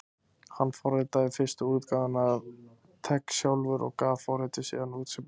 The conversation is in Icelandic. Hann forritaði fyrstu útgáfuna af TeX sjálfur og gaf forritið síðan út sem bók.